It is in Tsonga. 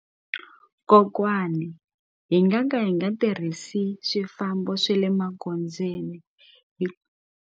Kokwani hi nga ka hi nga tirhisi swifambo swe le magondzweni .